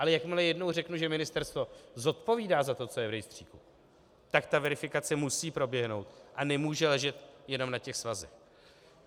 Ale jakmile jednou řeknu, že ministerstvo zodpovídá za to, co je v rejstříku, tak ta verifikace musí proběhnout a nemůže ležet jenom na těch svazech.